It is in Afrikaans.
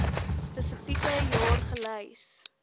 spesifieke jaar gelys